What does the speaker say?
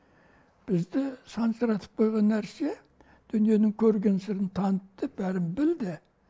бізді сансыратып қойған нәрсе дүниенің көрінген сырын танытты бәрін білді